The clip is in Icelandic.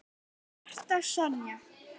Marta Sonja.